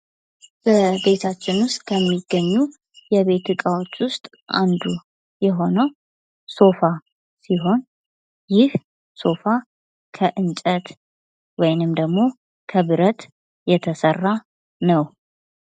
ጌታችን ውስጥ ከሚገኙ የቤት ዕቃዎቹ አንዱ የሆነው ሶፋ ሲሆን ይህ ሶፋ ከእንጨት ወይም ደግሞ ከብረት የተሰራ ነው።